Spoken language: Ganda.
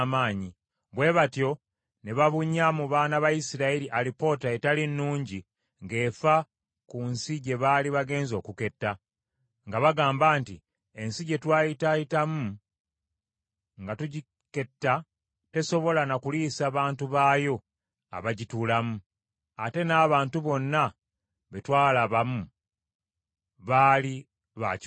Bwe batyo ne babunya mu baana ba Isirayiri alipoota etaali nnungi ng’efa ku nsi gye baali bagenze okuketta; nga bagamba nti, “Ensi gye twayitaayitamu nga tugiketta tesobola na kuliisa bantu baayo abagituulamu; ate n’abantu bonna be twalabamu baali ba kiwago.